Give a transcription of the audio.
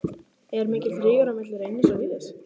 Er mikill rígur á milli Reynis og Víðis?